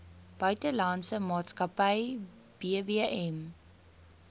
buitelandse maatskappy bbm